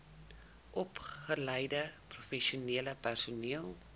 opgeleide professionele personeel